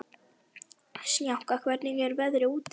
Snjáka, hvernig er veðrið úti?